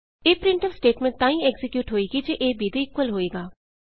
ਇਹ printf statement ਤਾਂ ਹੀ ਐਕਜ਼ੀਕਿਯੂਟ ਹੋਏਗੀ ਜੇ a b ਦੇ ਇਕੁਅਲ ਹੋਵੇਗਾ